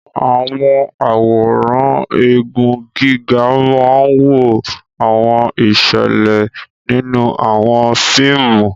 Àwọn àwòrán igun gíga máa ń wo àwọn ìṣẹ̀lẹ̀ nínú àwọn fíìmù.